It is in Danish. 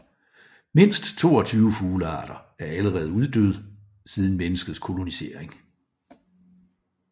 Mindst 22 fuglearter er allerede uddøde siden menneskets kolonisering